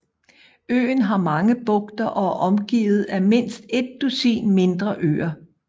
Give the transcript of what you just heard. Øen har mange bugter og er omgivet af mindst et dusin mindre øer